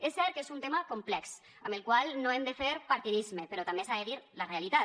és cert que és un tema complex amb el qual no hem de fer partidisme però també s’ha de dir la realitat